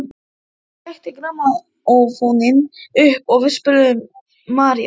Hún trekkti grammófóninn upp og við spiluðum Marías.